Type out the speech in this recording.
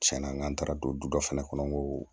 Tiɲɛna n k'an taara don du dɔ fɛnɛ kɔnɔ n ko